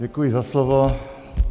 Děkuji za slovo.